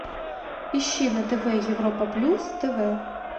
ищи на тв европа плюс тв